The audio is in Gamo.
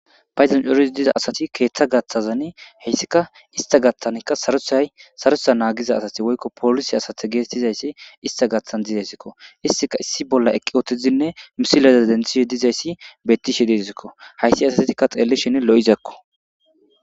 Paydoni coridi diza asati keetha gatahazani heytika ista gathanika sarotha nanigiza asat woyko polise asata getetizays ista gathan dezisko, istika issi bolla eqi utidinne misileza denthishe dizaysi beetishe dezisko , haysi asazika xeelishn lo'izako.